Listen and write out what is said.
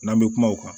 N'an bɛ kuma o kan